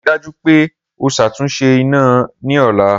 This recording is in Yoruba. Rii daju pe o ṣatunṣe ina ni ọla!